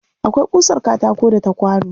Akwai ƙusar katako da ta kwano